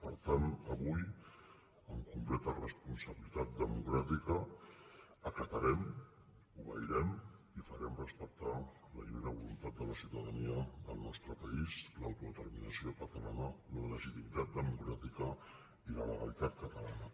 per tant avui amb completa responsabilitat democràtica acatarem obeirem i farem respectar la lliure voluntat de la ciutadania del nostre país l’autodeterminació catalana la legitimitat democràtica i la legalitat catalana